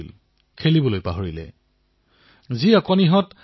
সকলোৰে আকৰ্ষণ খেলত নহয় সেই খেলাসামগ্ৰীটোৰ ওপৰত হে বৃদ্ধি হল